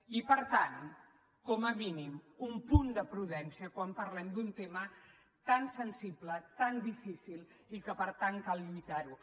i per tant com a mínim un punt de prudència quan parlem d’un tema tan sensible tan difícil i que per tant cal lluitar ho